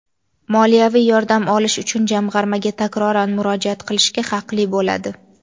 moliyaviy yordam olish uchun Jamg‘armaga takroran murojaat qilishga haqli bo‘ladi.